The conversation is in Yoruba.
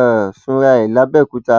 um sunra ẹ làbẹòkúta